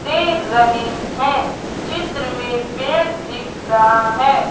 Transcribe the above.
दे रहे हैं चित्र में पेड़ दिख रहा है।